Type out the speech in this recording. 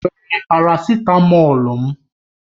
Ị were parasitamọ̀lu m?